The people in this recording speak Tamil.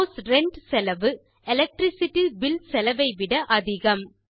ஹவுஸ் ரென்ட் செலவு எலக்ட்ரிசிட்டி பில் செலவை விட அதிகம்